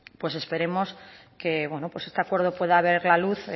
pues esperemos que este acuerdo pueda ver la luz